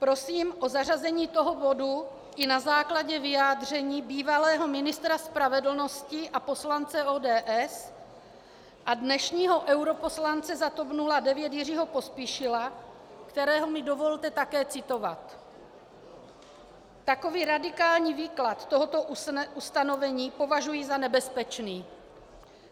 Prosím o zařazení tohoto bodu i na základě vyjádření bývalého ministra spravedlnosti a poslance ODS a dnešního europoslance za TOP 09 Jiřího Pospíšila, kterého mi dovolte také citovat: "Takový radikální výklad tohoto ustanovení považuji za nebezpečný.